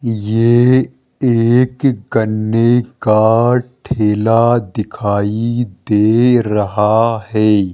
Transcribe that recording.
ये एक गन्ने का ठेला दिखाई दे रहा है।